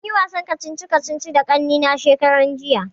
Mun yi wasan kacici kacici da kannena shekaran jiya